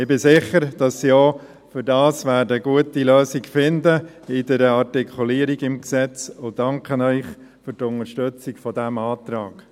Ich bin sicher, dass sie dafür mit der Artikulierung im Gesetz eine gute Lösung finden werden, und danke Ihnen für die Unterstützung dieses Antrags.